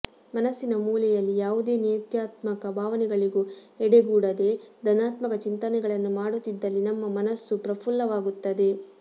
ಮನಸ್ಸಿನ ಮೂಲೆಯಲ್ಲಿ ಯಾವುದೇ ನೇತ್ಯಾತ್ಮಕ ಭಾವನೆಗಳಿಗೂ ಎಡೆಗೊಡದೆ ಧನಾತ್ಮಕ ಚಿಂತನೆಗಳನ್ನು ಮಾಡುತ್ತಿದ್ದಲ್ಲಿ ನಮ್ಮ ಮನಸ್ಸು ಪ್ರಪುಲ್ಲವಾಗುತ್ತದೆ